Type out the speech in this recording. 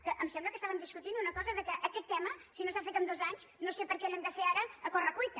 que em sembla que estàvem discutint una cosa que aquest tema si no s’ha fet en dos anys no sé per què l’hem de fer ara a corre cuita